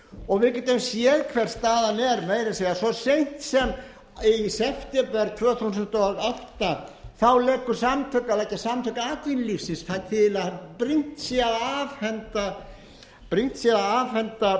og við getum séð hver staðan er meira að segja svo seint sem í september tvö þúsund og átta þá leggja samtök atvinnulífsins til að brýnt sé að afhenda